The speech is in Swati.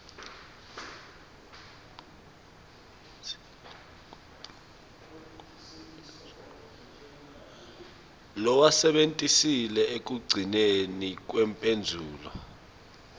lowasebentisile ekugcineni kwemphendvulo